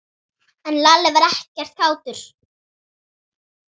En Lalli var ekkert kátur.